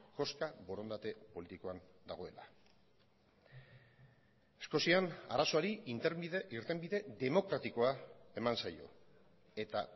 koska borondate politikoan dagoela eskozian arazoari irtenbide demokratikoa eman zaio eta